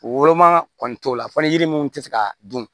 Woloma kɔni t'o la fɔ ni yiri minnu tɛ se ka dun